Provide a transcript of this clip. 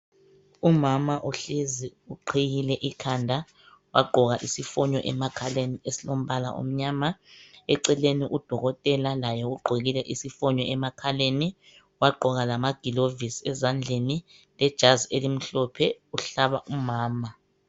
umama uhlezi uqhiyile ikhanda wagqoka isifonyo emakhaleni esilombala omnyama eceleni u dokotela laye ugqokile laye isifonyo emakhaleni wagqoka lama gilovosi ezandleni lejazi elimhlophe uhlaba umama